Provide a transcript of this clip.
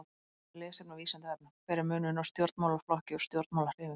Meira lesefni á Vísindavefnum: Hver er munurinn á stjórnmálaflokki og stjórnmálahreyfingu?